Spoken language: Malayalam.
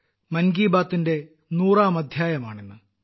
മൻ കി ബാത്തിന്റെ നൂറാം അദ്ധ്യായമാണ് ഇന്ന്